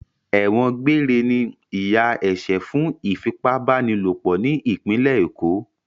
Ẹ̀wọ̀n gbére ni ìyà ẹ̀ṣẹ̀ fún ìfipábánilòpọ̀ ní ìpínlẹ̀ Èkó.